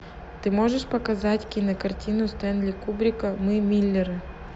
ты можешь показать кинокартину стэнли кубрика мы миллеры